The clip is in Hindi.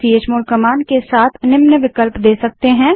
हम चमोड़ कमांड के साथ निम्न विकल्प दे सकते हैं